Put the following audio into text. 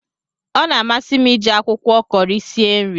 Ọ na amasi m iji akwụkwọ Kọri sie nri